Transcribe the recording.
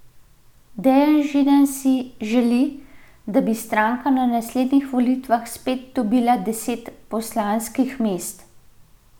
Dejan Židan si želi, da bi stranka na naslednjih volitvah spet dobila deset poslanskih mest.